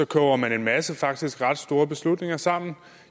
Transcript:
koger man en masse faktisk ret store beslutninger sammen